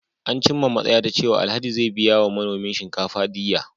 An cimma matsaya ta cewa Alhaji zai biya wa manomin shinkafa diyya.